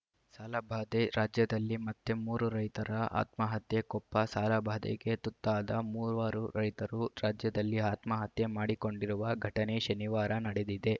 ಸಾಲಬಾಧೆ ರಾಜ್ಯದಲ್ಲಿ ಮತ್ತೆ ಮೂರು ರೈತರ ಆತ್ಮಹತ್ಯೆ ಕೊಪ್ಪ ಸಾಲಬಾಧೆಗೆ ತುತ್ತಾದ ಮೂವರು ರೈತರು ರಾಜ್ಯದಲ್ಲಿ ಆತ್ಮಹತ್ಯೆ ಮಾಡಿಕೊಂಡಿರುವ ಘಟನೆ ಶನಿವಾರ ನಡೆದಿದೆ